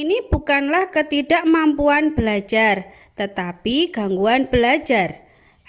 ini bukanlah ketidakmampuan belajar tetapi gangguan belajar